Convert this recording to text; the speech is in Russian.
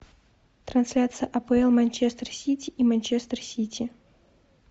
трансляция апл манчестер сити и манчестер сити